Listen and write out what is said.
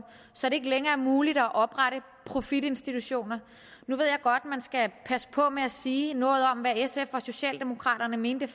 så det ikke længere er muligt at oprette profitinstitutioner nu ved jeg godt at man skal passe på med at sige noget om hvad sf og socialdemokraterne mente